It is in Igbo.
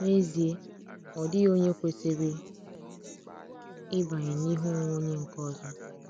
N'ezie, ọ dịghị onye kwesịrị ịbanye n’ihe onwe onye nke ọzọ.